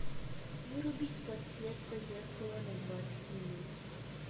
вырубить подсветка зеркала на двадцать минут